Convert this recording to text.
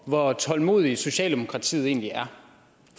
hvor tålmodig socialdemokratiet egentlig er